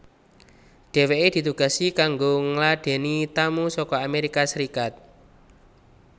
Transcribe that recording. Dheweke ditugasi kanggo ngladeni tamu saka Amerika Serikat